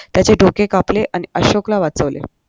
त्याचे डोके कापले आणि अशोकला वाचवले